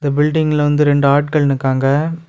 பில்டிங்ல வந்து இரண்டு ஆட்கள் நிக்காங்க.